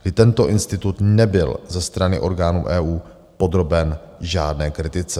I tento institut nebyl ze strany orgánů EU podroben žádné kritice.